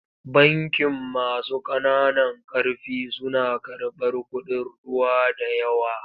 Bankin masu ƙananan ƙarfi suna karɓar kuɗin ruwa da yawa.